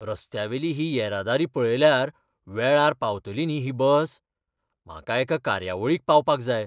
रस्त्यावेली ही येरादारी पळयल्यार वेळार पावतली न्ही ही बस? म्हाका एका कार्यावळीक पावपाक जाय.